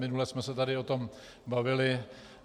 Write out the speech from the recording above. Minule jsme se tady o tom bavili.